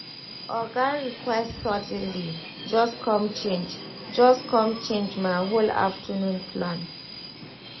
oga request suddenly just com change just com change my whole afternoon plan.